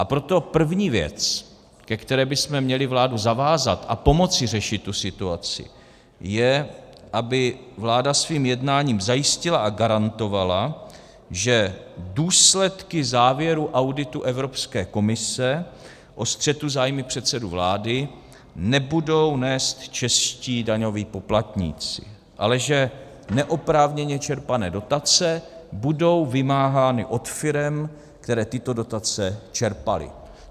A proto první věc, ke které bychom měli vládu zavázat, a pomoci řešit tu situaci, je, aby vláda svým jednáním zajistila a garantovala, že důsledky závěru auditu Evropské komise o střetu zájmů předsedy vlády nebudou nést čeští daňoví poplatníci, ale že neoprávněně čerpané dotace budou vymáhány od firem, které tyto dotace čerpaly.